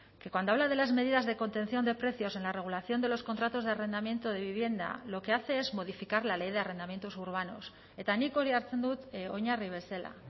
que cuando habla de las medidas de contención de precios en la regulación de los contratos de arrendamiento de vivienda lo que hace es modificar la ley de arrendamientos urbanos eta nik hori hartzen dut oinarri bezala